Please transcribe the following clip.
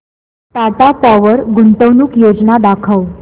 Tata Power गुंतवणूक योजना दाखव